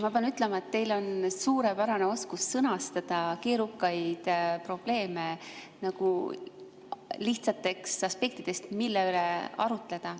Ma pean ütlema, et teil on suurepärane oskus sõnastada keerukaid probleeme lihtsalt, aspektidest, mille üle arutleda.